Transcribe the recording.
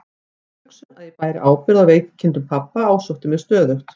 Sú hugsun að ég bæri ábyrgð á veikindum pabba ásótti mig stöðugt.